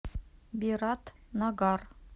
биратнагар